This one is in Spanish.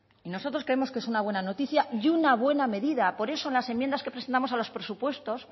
y nosotros creemos que es una buena noticia y una buena medida por eso en las enmiendas que presentamos a los presupuestos